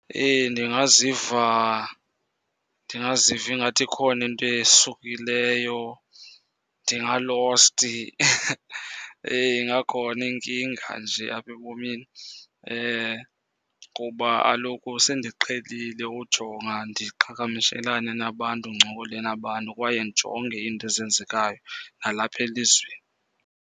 Ndingaziva, ndingaziva ingathi ikhona into esukileyo. Ndingalosti , ingakhona inkinga nje apha ebomini. Kuba kaloku sendiqhelile ujonga ndiqhagamishelane nabantu, ndincokole nabantu, kwaye ndijonge iinto ezenzekayo nalapha elizweni.